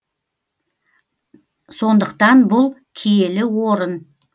сондықтан бұл киелі орын